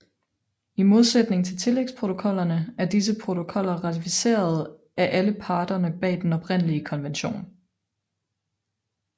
I modsætning til tillægsprotokollerne er disse protokoller ratificeret af alle parterne bag den oprindelige konvention